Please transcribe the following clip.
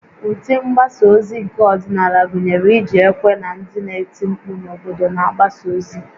Ụdị mgbasa ozi nke ọdịnala gụnyere iji ekwe na ndị na-eti mkpu n'obodo na-agbaso ozi